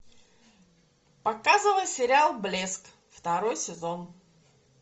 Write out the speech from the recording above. показывай сериал блеск второй сезон